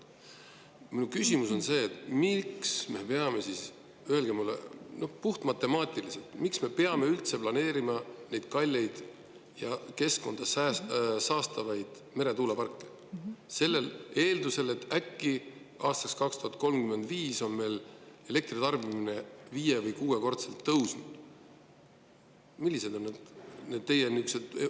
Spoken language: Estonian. Mu küsimus on see: miks me peame siis, öelge mulle puhtmatemaatiliselt, üldse planeerima neid kalleid ja keskkonda saastavaid meretuuleparke eeldusel, et äkki meie elektritarbimine tõuseb aastaks 2035 viie- või kuuekordseks?